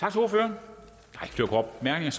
jeg